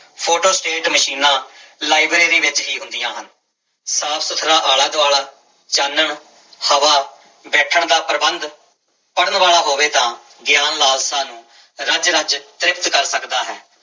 Photostat ਮਸ਼ੀਨਾਂ library ਵਿੱਚ ਹੀ ਹੁੰਦੀਆਂ ਹਨ, ਸਾਫ਼ ਸੁੱਥਰਾ ਆਲਾ ਦੁਆਲਾ ਚਾਨਣ ਹਵਾ, ਬੈਠਣ ਦਾ ਪ੍ਰਬੰਧ ਪੜ੍ਹਨ ਵਾਲਾ ਹੋਵੇ ਤਾਂ ਗਿਆਨ ਲਾਲਸਾ ਨੂੰ ਰਜ ਰਜ ਤ੍ਰਿਪਤ ਕਰ ਸਕਦਾ ਹੈ।